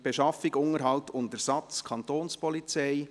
«Beschaffung, Unterhalt und Ersatz [...